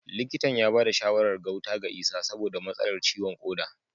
Likitan ya bada shawarar gauta ga Isah saboda matsalar ciwon koda